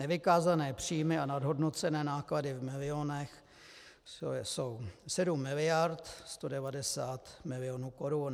Nevykázané příjmy a nadhodnocené náklady v milionech jsou 7 miliard 190 milionů korun.